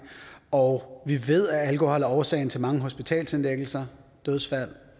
og vi ved at alkohol er årsagen til mange hospitalsindlæggelser dødsfald og